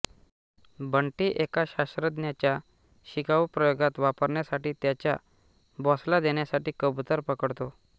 बंटी एका शास्त्रज्ञाचा शिकाऊ प्रयोगात वापरण्यासाठी त्याच्या बॉसला देण्यासाठी कबूतर पकडतो